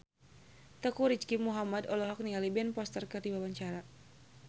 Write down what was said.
Teuku Rizky Muhammad olohok ningali Ben Foster keur diwawancara